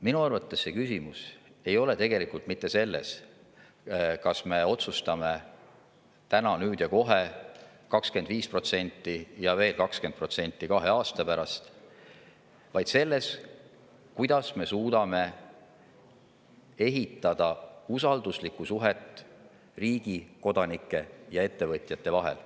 Minu arvates see küsimus ei ole tegelikult mitte selles, kas me otsustame täna, nüüd ja kohe 25% ja veel 20% kahe aasta pärast, vaid selles, kuidas me suudame ehitada usalduslikku suhet riigi, kodanike ja ettevõtjate vahel.